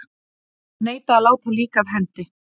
Neita að láta lík af hendi